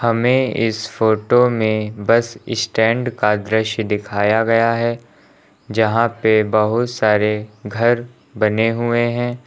हमें इस फोटो में बस इस्टैंड का दृश्य दिखाया गया है यहां पे बहुत सारे घर बने हुए हैं।